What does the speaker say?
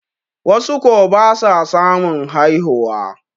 wasu ko ba sa samun haihuwa